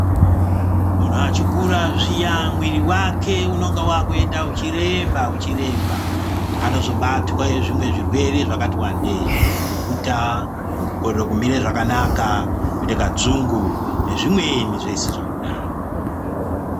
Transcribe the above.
Munhu achikura zviya mwiri wake unenga wakuenda uchiremba uchiremba Anozobatwe zvimwe zvirwere zvakati wandei kuhuta kikorore kumire zvakanaka kuite kadzungu nezvimweni zvese zvakadaro.